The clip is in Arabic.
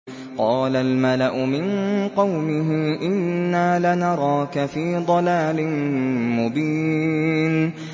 قَالَ الْمَلَأُ مِن قَوْمِهِ إِنَّا لَنَرَاكَ فِي ضَلَالٍ مُّبِينٍ